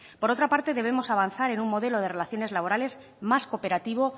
por otra parte debemos avanzar en un modelo de relaciones laborales más cooperativo